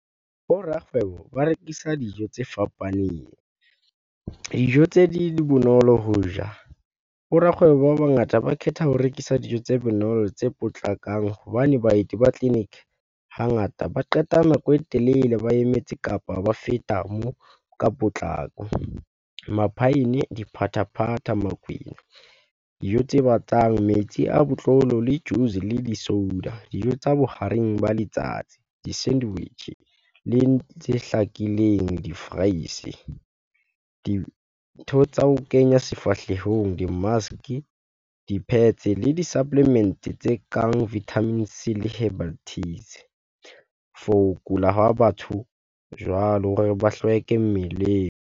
Bo rakgwebo ba rekisa dijo tse fapaneng. Dijo tse ding di bonolo ho . Bo rakgwebo ba bangata ba khetha ho rekisa dijo tse bonolo, tse potlakang hobane baeti ba tleliniki hangata ba qeta nako e telele ba emetse kapa ba feta moo ka potlako. Maphaene, diphathaphatha, makwenya, dijo tse batlang metsi a botlolo le juice le di-soda. Dijo tsa bohareng ba letsatsi di-sandwich le tse hlakileng di-fries-e. Dintho tsa ho kenya sefahlehong, di-mask di-pads le di-supplement-e tse kang vitamin C le herbal teas for ho kula ha batho jwalo hore ba hlweke mmeleng.